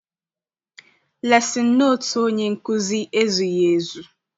Lesin notu onye nkụzi ezughị ezu.